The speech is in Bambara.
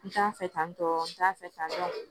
N t'a fɛ tan tɔ n t'a fɛ tantɔ